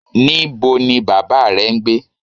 Nibo ni baba rẹ n gbe?